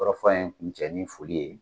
Kɔrɔfɔ in kun cɛ ni foli ye